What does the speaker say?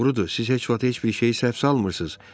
Doğrudur, siz heç vaxt heç bir şeyi səhv salmırsınız.